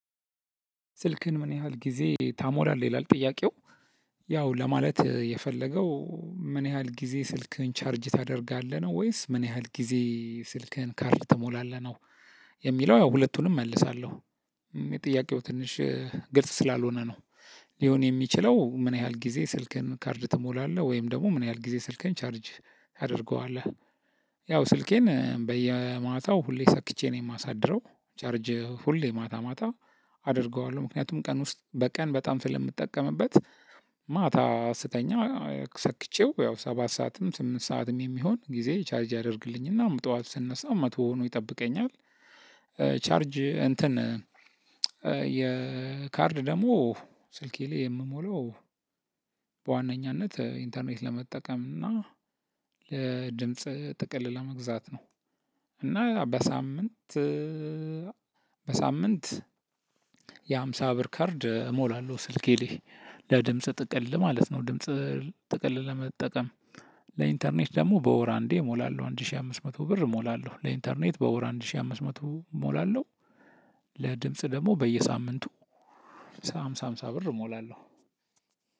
ስልክህን ምን ያህል ጊዜ ታሞራለህ ይላል ጥያቄው። ያው ለማለት የፈለገው ምን ያህል ጊዜ ስልክህን ቻርጅ ታደርጋለህ ነው ወይስ ምን ያህል ጊዜ ስልክህን ካርድ ትሞላለህ ነው? የሚለው ያው ሁለቱንም እመልሳለሁ ጥያቄው ትንሽ ግልጽ ስላልሆነ ነው። ሊሆን የሚችለው ምን ያህል ጊዜ ስልክን ካርድ ትሞላለህ ወይም ደግሞ ምን ያህል ጊዜ ስልክን ቻርጅ ታደርገዋለህ? ያው ስልኬን በየማታው ሁሌ ሰክቼ ነው የማሳድረው ቻርጅ ሁሌ ማታ ማታ አደርገዋለሁ። ምክንያቱም ቀን ውስጥ በቀን በጣም ስለምትጠቀምበት። ማታ ስተኛ ሰክቼው ያው ሰባት ሰዓትም ስምንት ሰዓትም የሚሆን ጊዜ ቻርጅ ያደርግልኝና ጠዋት ስነሳ መቶ ሆኖ ይጠብቀኛል። ቻርጅ እንትን የካርድ ደግሞ ስልኬ ላይ የምሞለው። በዋነኛነት ኢንተርኔት ለመጠቀም እና ለድምጽ ጥቅል ለመግዛት ነው። እና በሳምንት በሳምንት የሃምሳ ብር ካርድ እሞላለሁ ስልኬ ላይ ለድምጽ ጥቅል ማለት ነው። ድምጽ ጥቅል ለመጠቀም ለኢንተርኔት ደግሞ በወር አንዴ እሞላለሁ። አንድ ሺህ አምስት መቶ ብር እሞላለሁ ለኢንተርኔት በወር አንድ ሺህ አምስት መቶ እሞላለሁ። ለድምጽ ደግሞ በየሳምንቱ ሃምሳ ሃምሳ ብር ሞላለሁ።